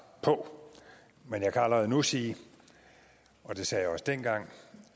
på men jeg kan allerede nu sige og det sagde jeg også dengang